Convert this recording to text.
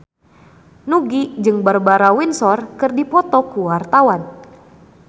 Nugie jeung Barbara Windsor keur dipoto ku wartawan